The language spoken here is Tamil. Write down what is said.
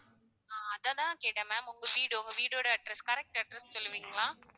ஆஹ் அதான் கேட்டேன் ma'am உங்க வீடு உங்க வீடோட address correct address சொல்லுவீங்களா?